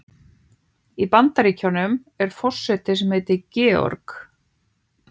Í Bandaríkjunum er forseti sem heitir Georg.